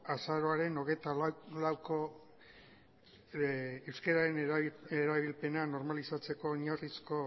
azaroaren hogeita lauko euskararen erabilpena normalizatzeko oinarrizko